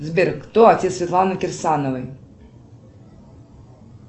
сбер кто отец светланы кирсановой